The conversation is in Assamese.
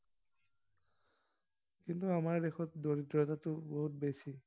কিন্তু আমাৰ দেশত দৰিদ্ৰতাটো বহুত বেছি।